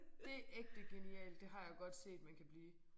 Det ægte genialt det har jeg godt set man kan blive